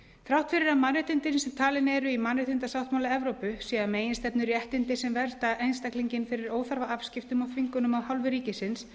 þrátt fyrir að mannréttindin sem talin eru í mannréttindasáttmála evrópu séu að meginstefnu réttindi sem vernda einstaklinginn fyrir óþarfaafskiptum og þvingunum af hálfu ríkisins